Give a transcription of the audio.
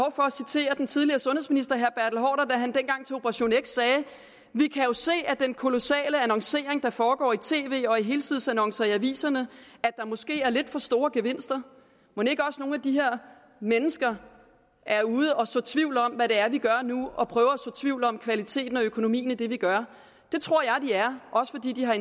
citere den tidligere sundhedsminister herre haarder da han engang til operation x sagde vi kan se af den kolossale annoncering der foregår i tv og i helsidesannoncer i aviserne at der måske er lidt for store gevinster mon ikke også nogle af de her mennesker er ude at så tvivl om hvad vi gør nu og prøver at så tvivl om kvaliteten og økonomien i det vi gør det tror jeg de er også fordi de har